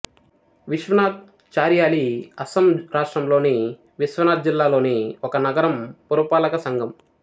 విశ్వనాథ్ చారియాలి అస్సాం రాష్ట్రంలోని విశ్వనాథ్ జిల్లా లోని ఒక నగరం పురపాలక సంఘం